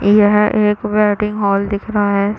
यहाँ एक wedding hall दिख रहा है।